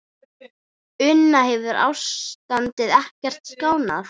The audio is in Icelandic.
Una, hefur ástandið ekkert skánað?